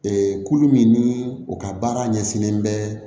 Ee kulu min ni o ka baara ɲɛsinnen bɛ